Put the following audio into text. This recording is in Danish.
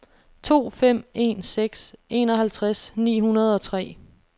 to fem en seks enoghalvtreds ni hundrede og tre